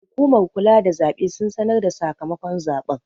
Hukumar kula da zaɓe sun sanarda sakamakon zaɓen